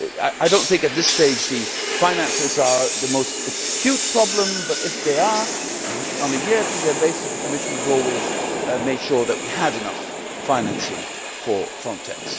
I do not think at this stage that the finances are the most acute problem but, if they are, on a year to year basis the Commission has always made sure that we had enough financing for Frontex.